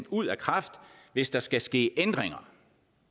ud af kraft hvis der skal ske ændringer